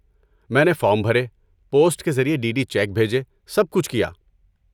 میں نے فارم بھرے، پوسٹ کے ذریعے ڈی ڈی چیک بھیجے، سب کچھ کیا۔